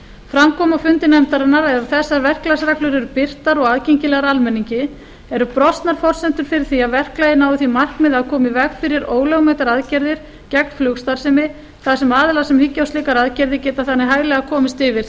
fram kom á fundi nefndarinnar að ef þessar verklagsreglur eru birtar og aðgengilegar almenningi eru brostnar forsendurnar fyrir því að verklagið nái því markmiði að koma í veg fyrir ólögmætar aðgerðir gegn flugstarfsemi þar sem aðilar sem hyggja á slíkar aðgerðir geta þannig hæglega komist yfir